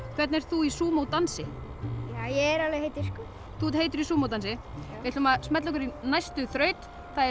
hvernig ert þú í dansi ég er alveg heitur þú ert heitur í Sumo dansi við ætlum að smella okkur í næstu þraut það er